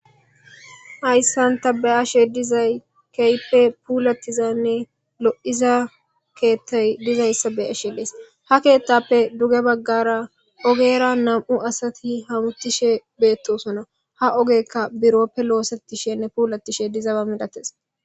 hayssanta ba7ashe dizay keype puulattizaynne lo7iza keettay dizayssa bey ashe dees ha keettappe duge baggara ogera nam7u asati hamuttishe beettosona ha ogekka birooppe loosetishenne puulatishe dizaba milates